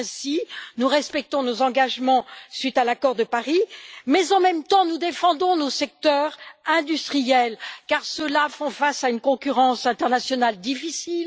Ainsi, nous respectons nos engagements suite à l'accord de Paris mais, en même temps, nous défendons nos secteurs industriels qui font face à une concurrence internationale difficile.